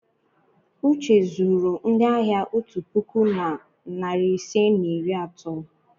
uche zuru ndị ahịa otu puku na narị ise na iri atọ.